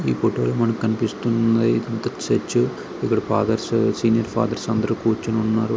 ఈ ఫోటో లో మనకు కనిపిస్తున్నది చర్చ్ ఫాదర్స్ సీనియర్ ఫాదర్స్ అందరూ కూర్చొని ఉన్నారు.